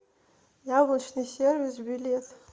яблочный сервис билет